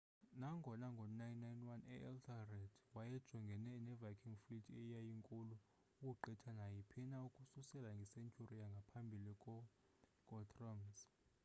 nangona ngo 991 uethelred wayejongene ne viking fleet eyayinkulu ukugqitha naayiphina ukususela nge-century yangamphabili ko guthrum's